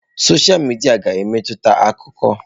Sọsha midia ga-emetụta akụkọ.